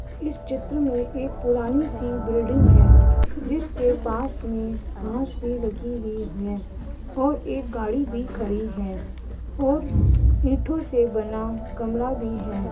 इस चित्र में एक पुरानी सी बिल्डिंग है जिसके पास में घाँस भी लगी वी है और एक गाड़ी भी खड़ी है और इंठों से बना गमला भी है।